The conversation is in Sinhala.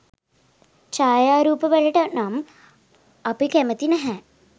ඡායාරුප වලට නම් අපි කැමති නැහැ.